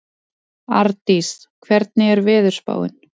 Ardís, hvernig er veðurspáin?